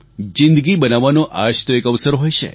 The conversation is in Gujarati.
જિંદગી બનાવવાનો આ જ તો એક અવસર હોય છે